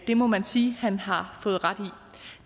det må man sige han har fået ret